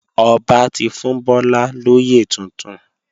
Ọba ti fún Bọ́lá lóyè tuntun